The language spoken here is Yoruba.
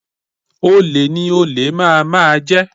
Olè ni olè máà máà jẹ